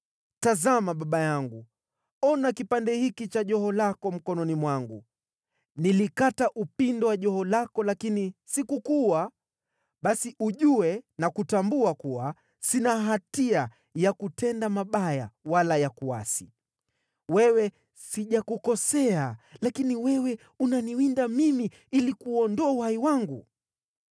Tazama, baba yangu, ona kipande hiki cha joho lako mkononi mwangu! Nilikata upindo wa joho lako lakini sikukuua. Basi ujue na kutambua kuwa sina hatia ya kutenda mabaya wala ya kuasi. Wewe sijakukosea, lakini wewe unaniwinda mimi ili kuuondoa uhai wangu.